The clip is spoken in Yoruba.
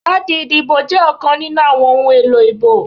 Káàdì ìdìbò jẹ́ ọ̀kan nínú àwọn ohun èlò ìbò